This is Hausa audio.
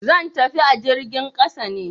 zan tafi ta jirgin ƙasa ne.